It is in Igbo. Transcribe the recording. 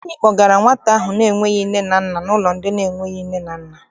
Anyị kpọgara nwata ahụ na-enweghị nne na nna n'ụlọ ndị enweghị nne na nna.